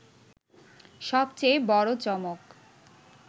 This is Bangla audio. সবচেয়ে বড় চমক